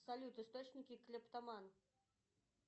салют источники клептоман